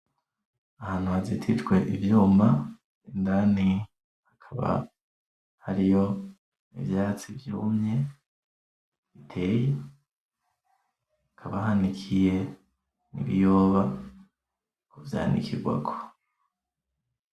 Ahantu hazitijwe ivyuma indani hakaba hariyo ivyatsi vyumye biteye hakaba hanikiye ibiyoba kuvyanikigwako.